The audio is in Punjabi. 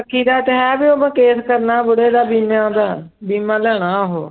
ਰੱਖੀ ਦਾ ਤਾਂ ਹੈ ਵੀ ਉਹ ਕੇਸ ਕਰਨਾ ਬੁੱੜੇ ਦਾ ਬੀਮਿਆਂ ਦਾ, ਬੀਮਾ ਲੈਣਾ ਉਹ।